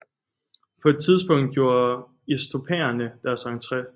På et tidspunkt gjorde istopaerne deres entre